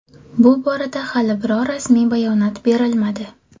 Bu borada hali biror rasmiy bayonot berilmadi.